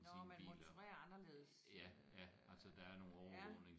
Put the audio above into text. Nåh man monitorerer anderledes øh ja